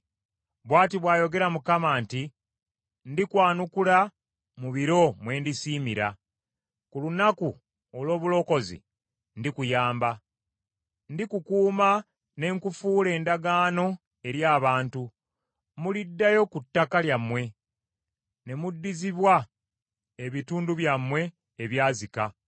Bw’ati bw’ayogera Mukama nti, “Ndikwanukula mu biro mwe ndisiimira, ku lunaku olw’obulokozi ndikuyamba. Ndikukuuma ne nkufuula endagaano eri abantu, muliddayo ku ttaka lyammwe ne muddizibwa ebitundu byammwe ebyazika,